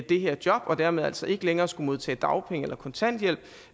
det her job og dermed altså ikke længere skulle modtage dagpenge og kontanthjælp